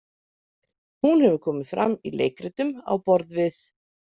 Hún hefur komið fram í leikritum á borð við.